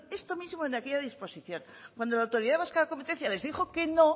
esto mismo en aquella disposición cuando la autoridad vasca de competencia les dijo que no